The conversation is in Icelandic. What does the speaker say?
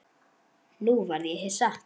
Nú varð ég hissa.